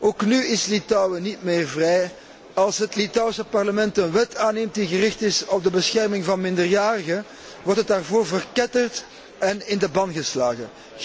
Ook nu is Litouwen niet meer vrij als het Litouwse parlement een wet aanneemt die gericht is op de bescherming van minderjarigen, wordt het daarvoor verketterd en in de ban gedaan.